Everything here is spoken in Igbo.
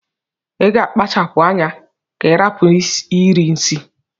Iga akpachapu anya ka irapu iri nsi!!